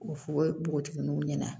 O fogo npogotigininw ɲɛna